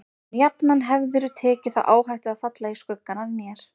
En jafnan hefðirðu tekið þá áhættu að falla í skuggann af mér.